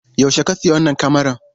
Yaushe ka sayi wannan kamaran?